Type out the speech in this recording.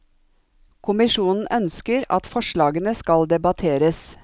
Kommisjonen ønsker at forslagene skal debatteres.